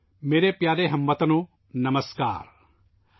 میرے پیارے ہم وطنو ، نمسکار !